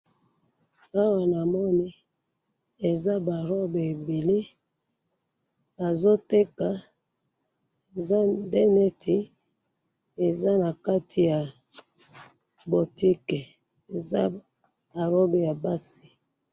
na photo oyo nazali bongo komona liboso nangai eza esika oyo batekisa biliko ya komia to ya kobakola to ya komela liboso nanga sikasikoyo nazo mona ba discuite oyo bana balingaka komia mingi nazo mona discuite mususu ba sali yango na miliki